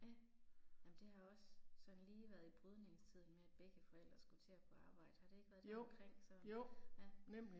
Ja. Jamen det har også sådan lige været i brydningstiden med at begge forældre skulle til at på arbejde har det ikke været deromkring så? Ja